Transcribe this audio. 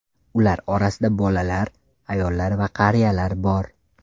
Ular orasida bolalar, ayollar va qariyalar bor.